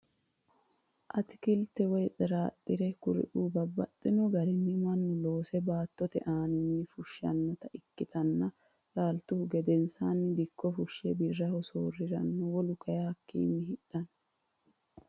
Atikilite, woyi xiraxirete kuriu babaxino garinni manu loose baatotte aninni fushanotta iikkittanna laalituhu gedensanni dikko fushe biraho sooriranonna wolu kayi hakkiinni hidhano